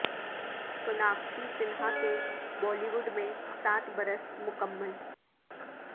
سناکشی سنہا کے Bollywood میں سات برس مکمل